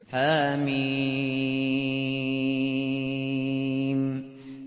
حم